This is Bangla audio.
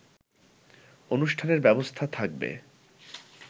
অনুষ্ঠানের ব্যবস্থা থাকবে